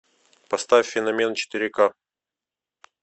поставь феномен четыре ка